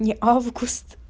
не август